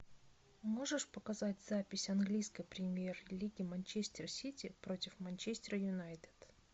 можешь показать запись английской премьер лиги манчестер сити против манчестер юнайтед